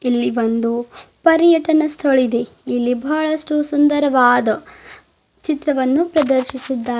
ಇಲ್ಲಿ ಒಂದು ಪರಿಯತನ ಸ್ಥಳವಿದೆ ಇಲ್ಲಿ ಬಹಳಷ್ಟು ಸುಂದರವಾದ ಚಿತ್ರವನ್ನು ಪ್ರದರ್ಶಿಸಿದ್ದಾರೆ.